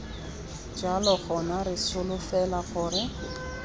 jalo gona re solofela gore